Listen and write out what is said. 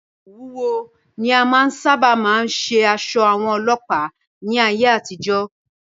Òwú wúwo ni a sáábà máa fí ń ṣe aṣọ àwọn Ọlọ́pàá ní ayé àtijọ́.